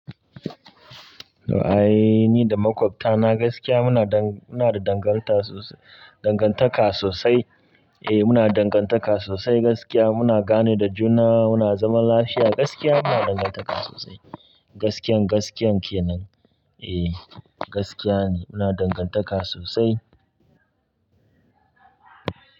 Ra'ayi ni da makwabta na gaskiya muna muna da dangantaka sosai. Eh, muna dangantaka sosai gaskiya. Muna gane da juna, muna zaman lafiya gaskiya. Muna dangantaka sosai. Gaskiyan, gaskiyan kenan. Eh, gaskiya ne muna dangantaka sosai.